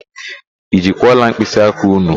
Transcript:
I jikwa ọla mkpịsịaka ụnụ?